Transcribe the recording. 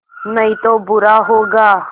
नहीं तो बुरा होगा